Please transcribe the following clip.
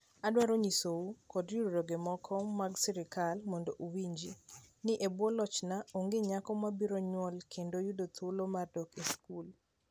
Adwaro nyisou, kod riwruoge maok mag sirkal mondo owinji, ni e bwo lochna, onge nyako mabiro nyuol kendo yudo thuolo mar dok e skul.